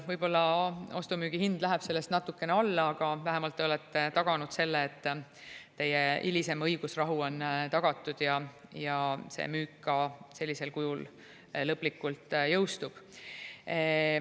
Võib-olla ostu-müügi hind läheb sellest natukene alla, aga vähemalt teie hilisem õigusrahu on tagatud ja see müük ka sellisel kujul lõplikult jõustub.